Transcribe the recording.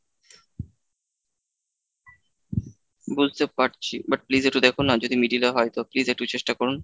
বুঝতে পারছি but please একটু দেখুন না যদি middle এ হয় তো please একটু চেষ্টা করুন।